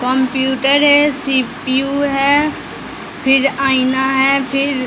computer है CPU है फिर आईना है फिर --